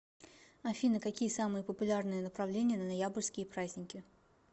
афина какие самые популярные направления на ноябрьские праздники